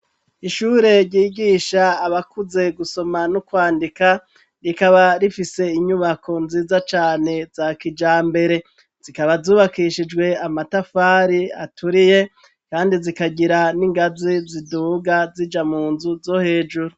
Ishure ryigisha abakuze gusoma no kwandika, rikaba rifise inyubako nziza cane za kijambere. Zikaba zubakishijwe amatafari aturiye kandi zikagira n'ingazi ziduga zija mu nzu zo hejuru.